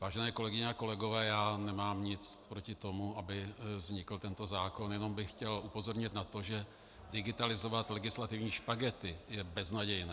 Vážené kolegyně a kolegové, já nemám nic proti tomu, aby vznikl tento zákon, jenom bych chtěl upozornit na to, že digitalizovat legislativní špagety je beznadějné.